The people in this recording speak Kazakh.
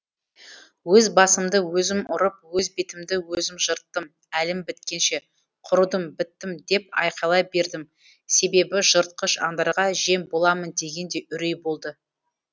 өз басымды өзім ұрып өз бетімді өзім жырттым әлім біткенше құрыдым біттім деп айқайлай бердім себебі жыртқыш аңдарға жем боламын деген де үрей болды